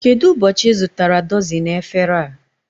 Kedụ ụbọchị I zụtara dọzini efere a?